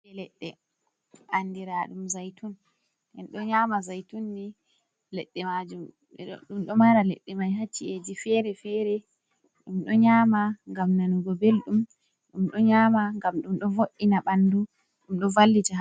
Leɗɗe andiraɗum zaitun. Enɗo nyama zaytunni leɗɗe majum, ɗum ɗo mara leɗɗe mai ha ci’eji fere-fere, ɗum ɗo nyama ngam nanugo beldum, ɗum ɗo nyama ngam ɗum ɗo vo’ina ɓandu, ɗum ɗo vallita.